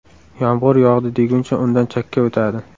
Yomg‘ir yog‘di deguncha undan chakka o‘tadi.